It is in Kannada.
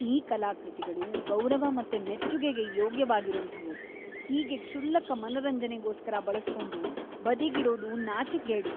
ಈ ಕಲಾಕೃತಿಗಳು ಗೌರವ ಮತ್ತೆ ಮೆಚ್ಚುಗೆಗೆ ಯೋಗ್ಯವಾಗಿರೋಂಥವು, ಹೀಗೆ ಕ್ಷುಲ್ಲಕ ಮನರಂಜನೆಗೋಸ್ಕರ ಬಳಸ್ಕೊಂಡು ಬದಿಗಿಡೋದು ನಾಚಿಕ್ಗೇಡು!